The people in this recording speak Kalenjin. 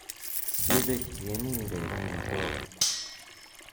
yebeek tieni rureren matoba